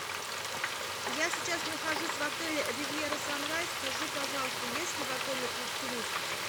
я сейчас нахожусь в отеле ривьера санрайз скажи пожалуйста есть ли в отеле клуб